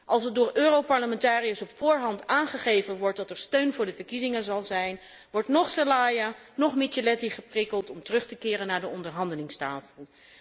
Als er door Europarlementariërs op voorhand wordt aangeven dat er steun voor de verkiezingen zal zijn, wordt noch Zelaya, noch Micheletti geprikkeld om terug te keren naar de onderhandelingstafel.